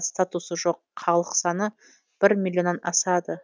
статусы жоқ халық саны бір миллионнан асады